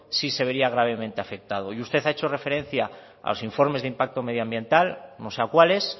sí se vería gravemente afectado y usted ha hecho referencia a los informes de impacto medioambiental no sé a cuáles